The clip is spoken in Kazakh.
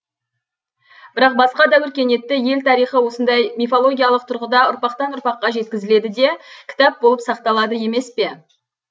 бірақ басқа да өркениетті ел тарихы осындай мифологиялық тұрғыда ұрпақтан ұрпаққа жеткізілді де кітап болып сақталды емес пе